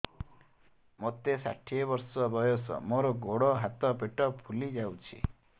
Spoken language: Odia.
ମୋତେ ଷାଠିଏ ବର୍ଷ ବୟସ ମୋର ଗୋଡୋ ହାତ ପେଟ ଫୁଲି ଯାଉଛି